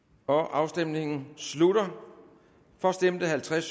afstemningen slutter for stemte halvtreds